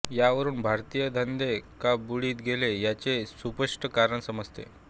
यावरुन भारतीय धंदे का बुडित गेले याचे सुस्पष्ट कारण समजते